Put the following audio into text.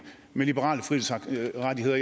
med liberale frihedsrettigheder